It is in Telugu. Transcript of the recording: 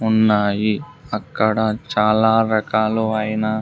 ఉన్నాయి అక్కడ చాలా రకాలు అయిన--